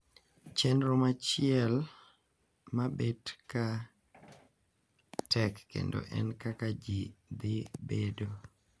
Chenro machiel mabet ka tek kendo en kaka ji dhi bedo.